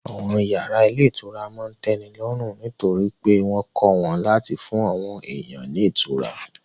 Àwọn yàrá ilé ìtura máa n tẹ́ni lọ́rùn nítorí pé wọ́n kọ́ wọn láti fún àwọn èèyàn ní ìtura